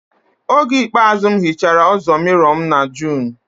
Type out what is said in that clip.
Oge ikpeazụ m hichara ụzọ mirrow m na June